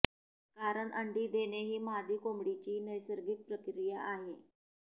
कारण अंडी देणे ही मादी कोंबडीची नैसर्गिक प्रक्रिया आहे